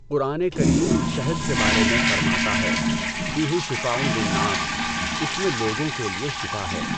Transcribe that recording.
قرآن کریم شھد کے بارے میں فرماتا ہے فِيهِ شِفَاءٌ لِلنَّاسِ اس میں لوگوں کے لیے شفا ہے۔